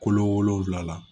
Kolo wolonfila